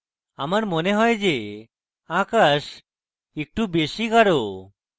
আমার মনে has যে আকাশ একটু বেশী গাঢ়